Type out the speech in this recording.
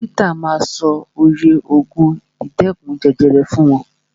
Dókítà ma sọ oye ògùn ìdẹ́kun jẹjẹrẹ fún wọn.